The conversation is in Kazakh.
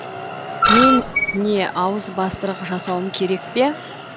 мен не ауызбастырық жасауым керек пе